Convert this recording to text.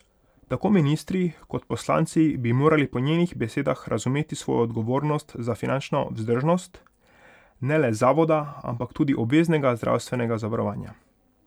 Tako ministri kot poslanci bi morali po njenih besedah razumeti svojo odgovornost za finančno vzdržnost ne le zavoda, ampak tudi obveznega zdravstvenega zavarovanja.